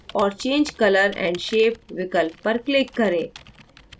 और change color & shape विकल्प पर click करें